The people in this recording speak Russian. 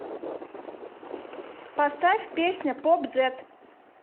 поставь песня поп зэт